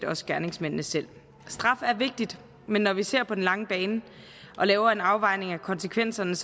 også gerningsmændene selv straf er vigtigt men når vi ser på den lange bane og laver en afvejning af konsekvenserne